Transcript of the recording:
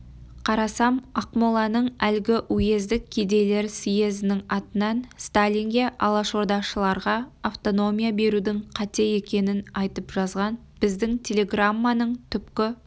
қарасам ақмоланың әлгі уездік кедейлер съезінің атынан сталинге алашордашылдарға автономия берудің қате екенін айтып жазған біздің телеграмманың түпкі